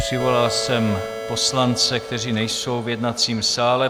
Přivolal jsem poslance, kteří nejsou v jednacím sále.